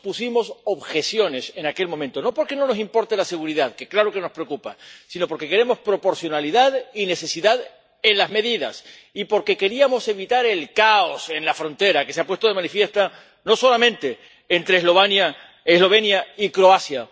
Muchos pusimos objeciones en aquel momento, no porque no nos importe la seguridad, que claro que nos preocupa, sino porque queremos proporcionalidad y necesidad en las medidas, y porque queríamos evitar el caos en la frontera, que se ha puesto de manifiesto no solamente entre Eslovenia y Croacia.